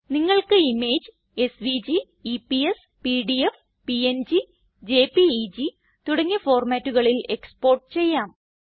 നിങ്ങൾക്ക് image SVG EPS PDF PNG JPEG തുടങ്ങിയ ഫോർമാറ്റുകളിൽ എക്സ്പോർട്ട് ചെയ്യാം